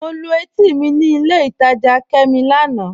Mọ̀ lú ètì mi ní ilẹ̀ ìtajá Kẹ́mí lánà.